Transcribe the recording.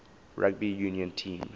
rugby union team